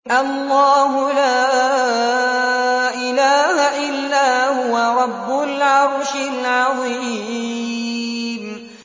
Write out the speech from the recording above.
اللَّهُ لَا إِلَٰهَ إِلَّا هُوَ رَبُّ الْعَرْشِ الْعَظِيمِ ۩